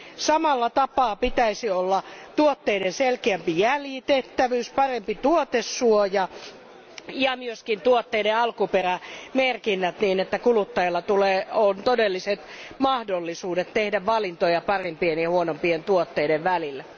Samalla tapaa siellä pitäisi olla tuotteiden selkeämpi jäljitettävyys, parempi tuotesuoja ja myös tuotteiden alkuperämerkinnät, niin että kuluttajalla on todelliset mahdollisuudet tehdä valintoja parempien ja huonompien tuotteiden välillä.